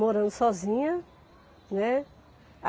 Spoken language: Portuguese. morando sozinha, né?